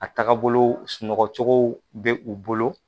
A taaga bolo sunɔgɔcogo bɛ u bolo.